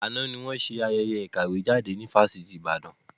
Àná ni wọn ṣe ayẹyẹ ìkàwé jáde ní Fásitì Ìbàdàn.